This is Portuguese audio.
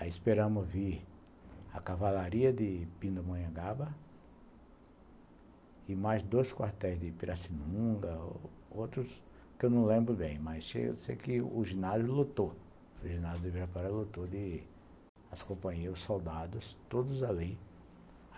Aí esperamos vir a cavalaria de Pindamonhangaba e mais dois quartéis de Piracinunga, outros que eu não lembro bem, mas sei que o ginásio lotou, o ginásio do Ibirapuera lotou de as companhias, os soldados, todos ali.